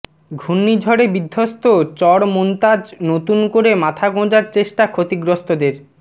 ঘূর্ণিঝড়ে বিধ্বস্ত চর মোন্তাজ নতুন করে মাথা গোঁজার চেষ্টা ক্ষতিগ্রস্তদের